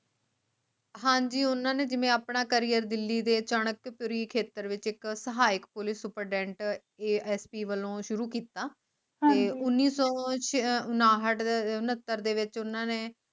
ਹਾਂਜੀ ਓਹਨਾ ਨੇ ਜਿਵੇ ਆਪਣਾ career ਦਿੱਲੀ ਦੇ ਚਨਕਪੁਰੀ ਖ਼ੇਤਰ ਵਿਚ ਇਕ ਸਹਾਇਕ Police SupritendentASP ਵੱਲੋਂ ਸ਼ੁਰੂ ਕਿਤਾ ਤੇ ਉਨੀ ਸੋ ਉਣਾਹਠ ਅਹ ਉਣੱਤਰ ਦੇ ਵਿਚ ਉਨ੍ਹਾਂ ਨੇ